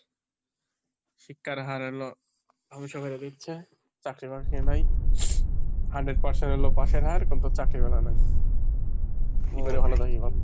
শিক্ষার হার হলো ধ্বংস করে দিচ্ছে, চাকরি বাকরি নাই। Hundred percent হলেও পাশের হার কিন্তু চাকরিবালা নাই। কি করে ভালো থাকি বল?